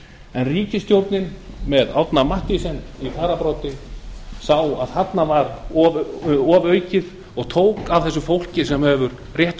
en ríkisstjórnin með árna mathiesen í fararbroddi sá að þarna var ofaukið og tók eitt prósent af þessu fólki sem hefur rétt